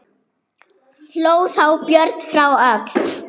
Hló þá Björn frá Öxl.